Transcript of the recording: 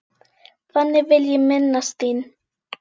Þannig vil ég minnast þín.